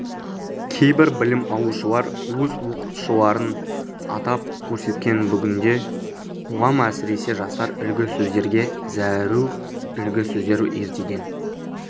кейбір білім алушылар өз оқытушыларын атап көрсеткен бүгінде қоғам әсіресе жастар үлгі сөздерге зәру үлгі сөздер ертеден